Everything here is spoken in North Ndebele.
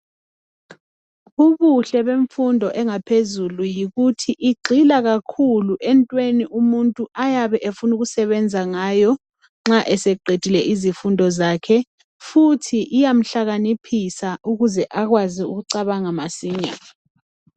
Ubuhle bemfundo engaphezulu yikuthi igxila kakhulu entweni umuntu ayabe efuna ukusebenza ngayo nxa eyabe eseqedile izifundo zakhe futhi iyamhlakaniphisa ukuze akwazi ukucabanga masinya